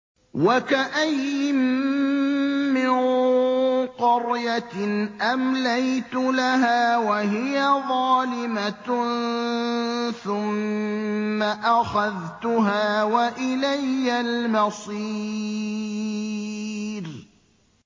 وَكَأَيِّن مِّن قَرْيَةٍ أَمْلَيْتُ لَهَا وَهِيَ ظَالِمَةٌ ثُمَّ أَخَذْتُهَا وَإِلَيَّ الْمَصِيرُ